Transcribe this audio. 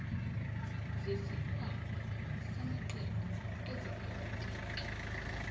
zesikhwama samaqembu ezepolitiki